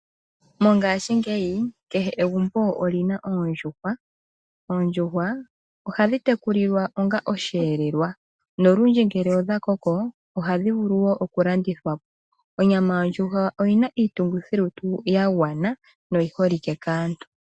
Mongaashingeyi kehe egumbo olyina oondjuhwa. Oondjuhwa ohadhi tekulilwa onga osheelelwa nolundji ngele odha koko , ohadhi vulu wo oku landithwa po. Onyama yondjuhwa oyina iitungithi lutu ya gwana noyi holike kaantu.